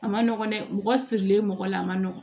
A ma nɔgɔ dɛ mɔgɔ sirilen mɔgɔ la a ma nɔgɔn